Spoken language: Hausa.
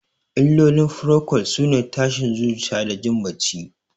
Illolin furokol sune tashin zuciya da jin bacci.